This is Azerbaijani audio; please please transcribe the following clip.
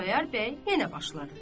Xudayar bəy yenə başladı.